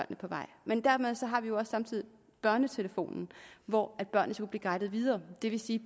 på vej men dermed har vi jo samtidig børnetelefonen hvor børnene kan blive guidet videre og det vil sige